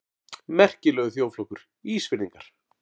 Merkilegur þjóðflokkur, Ísfirðingar!